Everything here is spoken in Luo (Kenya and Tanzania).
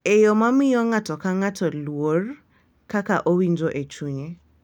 E yo ma miyo ng’ato ka ng’ato luor kaka owinjo e chunye .